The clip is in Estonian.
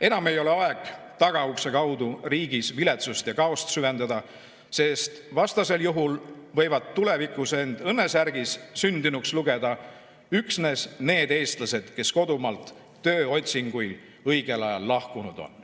Enam ei ole aeg tagaukse kaudu riigis viletsust ja kaost süvendada, sest vastasel juhul võivad tulevikus end õnnesärgis sündinuks lugeda üksnes need eestlased, kes kodumaalt tööotsinguil õigel ajal lahkunud on.